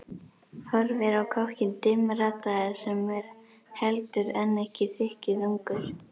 Horfir á kokkinn dimmraddaða sem er heldur en ekki þykkjuþungur.